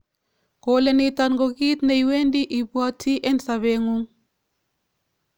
Kole niton ko kiit neiwendi ibwati en sopet ngung'